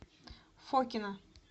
фокино